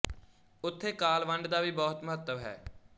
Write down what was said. ਉਥੇ ਕਾਲ ਵੰਡ ਦਾ ਵੀ ਬਹੁਤ ਮਹੱਤਵ ਹੈ